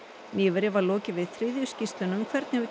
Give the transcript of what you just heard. nýverið var lokið við þriðju skýrsluna um hvernig hefur